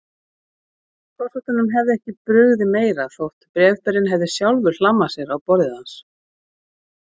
Forsetanum hefði ekki brugðið meira þótt bréfberinn hefði sjálfur hlammað sér á borðið hans.